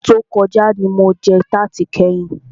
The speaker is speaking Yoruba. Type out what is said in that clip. Ọdún tí o kọjá ní mo jẹ tarti kẹ́yin.